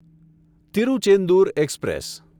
Tiruchendur express